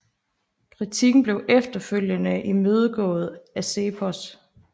Kritikken blev efterfølgende imødegået af CEPOS